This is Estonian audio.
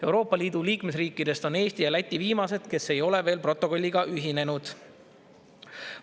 Euroopa Liidu liikmesriikidest on Eesti ja Läti viimased, kes ei ole veel protokolliga ühinenud.